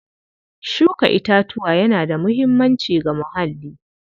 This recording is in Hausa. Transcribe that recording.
Shuka itatuwa yana da muhimmanci ga muhalli.